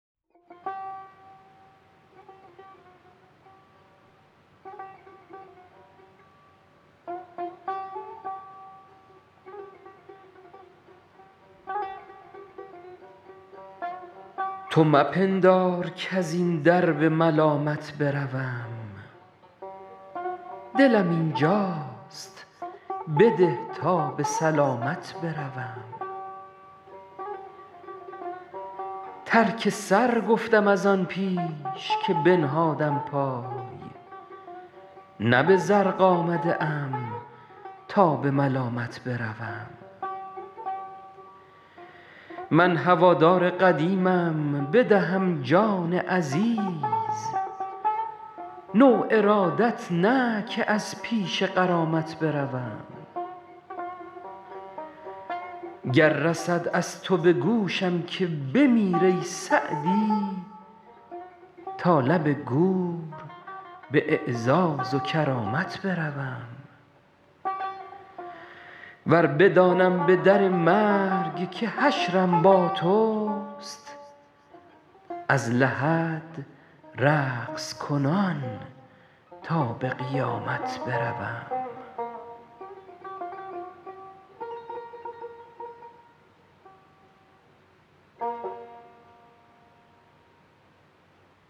تو مپندار کز این در به ملامت بروم دلم اینجاست بده تا به سلامت بروم ترک سر گفتم از آن پیش که بنهادم پای نه به زرق آمده ام تا به ملامت بروم من هوادار قدیمم بدهم جان عزیز نو ارادت نه که از پیش غرامت بروم گر رسد از تو به گوشم که بمیر ای سعدی تا لب گور به اعزاز و کرامت بروم ور بدانم به در مرگ که حشرم با توست از لحد رقص کنان تا به قیامت بروم